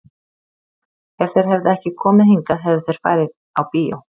Ef þeir hefðu ekki komið hingað hefðu þeir farið á bíó.